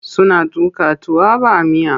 Suna tuƙa tuwa ba miya.